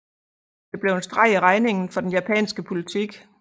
Det blev en streg i regningen for den japanske politik